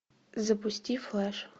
запусти флэш